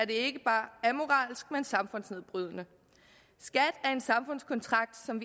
ikke bare amoralsk men også samfundsnedbrydende skat er en samfundskontrakt som